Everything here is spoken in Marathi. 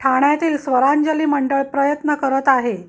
ठाण्यातील स्वरांजली मंडळ प्रयत्न करत आहे